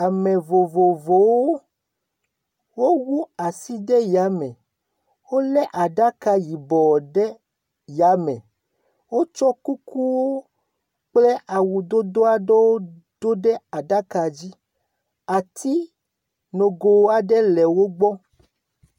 Ame vovovowo wowu asi ɖe yame wolé aɖaka yibɔ ɖe yame wotsɔ kuku kple awu yibɔ aɖewo ɖo ɖe aɖaka la dzi. Ati nogo aɖe le wogbɔ.